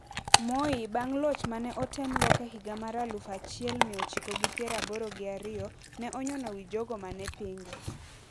Moi bang` loch ma ne otem lok e higa mar aluf achiel mia ochiko gi pier aboro gi ariyo ne onyono wi jogo ma ne pinge.